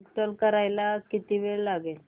install करायला किती वेळ लागेल